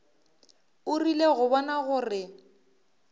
o rile go bona gore